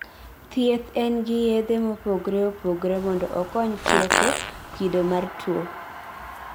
thieth en ge yedhe mopogre opogre mondo okony tieko kido mar tuwo